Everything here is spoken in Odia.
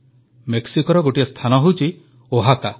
ମେକ୍ସିକୋର ଗୋଟିଏ ସ୍ଥାନ ହେଉଛି ଓହାକା